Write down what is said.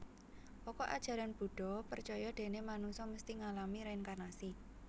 Pokok Ajaran Buddha percaya déné manungsa mesti ngalami reinkarnasi